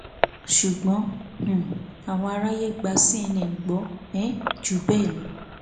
ṣùgbọn um àwọn àrààyè gba cnn gbọ um jù bẹẹ lọ